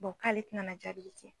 k'ale tɛna na jaabili